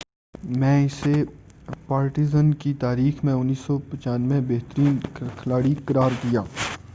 1995ء میں اسے پارٹیزن کی تاریخ میں بہترین کھلاڑی قرار دیا گیا